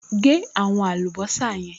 Gé àwọn àlùbọ́sà yẹn